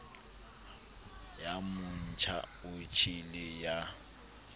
ya motjha o tjhele ya